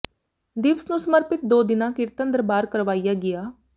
ਦਿਵਸ ਨੂੰ ਸਮਰਪਿਤ ਦੋ ਦਿਨਾਂ ਕੀਰਤਨ ਦਰਬਾਰ ਕਰਵਾਇਆ ਗਿਆ